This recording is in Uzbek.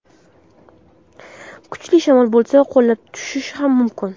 Kuchli shamol bo‘lsa, qulab tushishi ham mumkin.